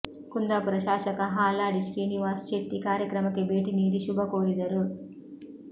ಕುಂದಾಪುರ ಶಾಸಕ ಹಾಲಾಡಿ ಶ್ರೀನಿವಾಸ್ ಶೆಟ್ಟಿ ಕಾರ್ಯಕ್ರಮಕ್ಕೆ ಭೇಟಿ ನೀಡಿ ಶುಭಕೋರಿದರು